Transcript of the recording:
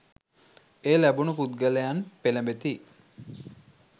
එය ලැබුණු පුද්ගලයන් පෙළෙඹෙති.